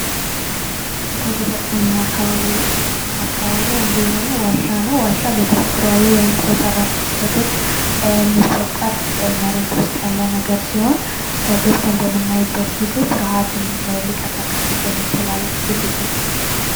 ከተፈጥሮ እና አካባቢ አንዱ የሆነው ዋሻ ነው። ዋሻ በተፈጥሯዊ ወይም ሰው ሰራሽ ክስተቶች የሚፈጠር መሬት ውስጥ ያለ ነገር ሲሆን ገብተን በምናይበት ጊዜ ፍርሃትን ሊቀሰቅስ ይችላል።